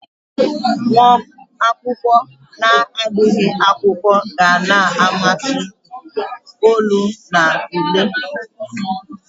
Nwa akwụkwọ na-agụghị akwụkwọ, ga na-amati olu na ule.